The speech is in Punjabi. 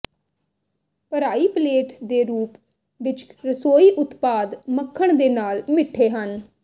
ਭਰਾਈ ਪਲੇਟ ਦੇ ਰੂਪ ਵਿੱਚ ਰਸੋਈ ਉਤਪਾਦ ਮੱਖਣ ਦੇ ਨਾਲ ਮਿੱਠੇ ਹਨ